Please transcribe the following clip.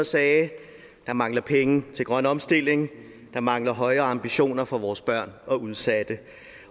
sagde der mangler penge til grøn omstilling der mangler højere ambitioner for vores børn og udsatte